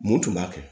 Mun tun b'a kɛ